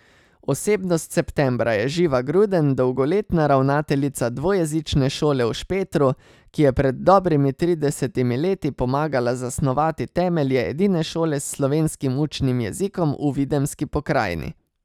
Osebnost septembra je Živa Gruden, dolgoletna ravnateljica dvojezične šole v Špetru, ki je pred dobrimi tridesetimi leti pomagala zasnovati temelje edine šole s slovenskim učnim jezikom v videmski pokrajini.